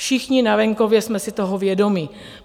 Všichni na venkově jsme si toho vědomi.